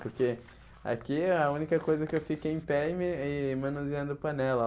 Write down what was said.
Porque aqui é a única coisa que eu fico em pé e me e manuseando panela.